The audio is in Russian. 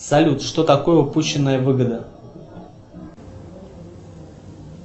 салют что такое упущенная выгода